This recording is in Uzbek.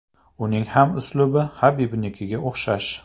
Uning ham uslubi Habibnikiga o‘xshash.